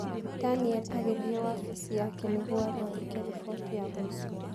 Daniel agĩthiĩ wabici yake nĩguo athondeke riboti ya mũico.